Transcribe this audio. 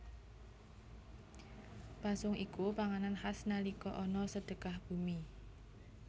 Pasung iku panganan khas nalika ana Sedekah Bumi